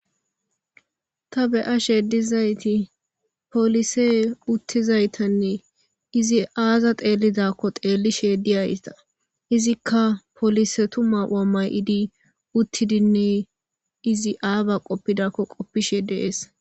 Ta beya sheedizayti polise uttizaytanne izi aaza xeellidakko xeelli sheediyayta izikka polise tuma wamay7idi uttidinne izi aaba qoppidakko qoppi sheedeees.